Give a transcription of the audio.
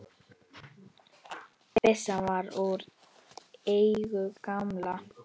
Byssan var úr eigu gamla